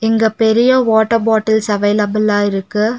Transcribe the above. இங்க பெரிய water bottles அவைலபுலா இருக்கு.